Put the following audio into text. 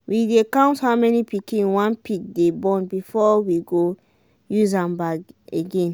we dey count how many pikin one pig dey born before we use am born again